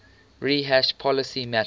rehash policy matters